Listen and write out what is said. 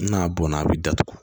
N'a bɔnna a bi datugu